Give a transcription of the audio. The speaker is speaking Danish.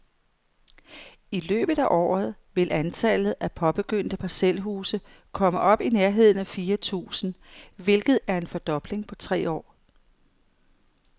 I løbet af året vil antallet af påbegyndte parcelhuse komme op i nærheden af fire tusind, hvilket er en fordobling på tre år.